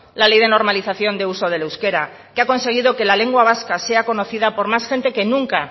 la ley de normalización de uso del euskera que ha conseguido que la lengua vasca sea conocida por más gente que nunca